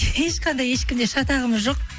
ешқандай ешкімде шатағымыз жоқ